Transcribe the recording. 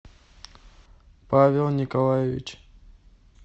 павел николаевич